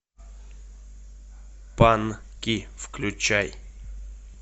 панки включай